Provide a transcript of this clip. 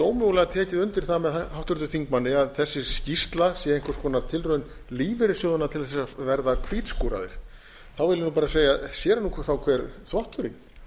ómögulega tekið undir það með háttvirtum þingmanni að þessi skýrsla sé einhvers konar tilraun lífeyrissjóðanna til þess að verða hvítskúraðir þá vil ég bara segja sér er nú þá hver þvotturinn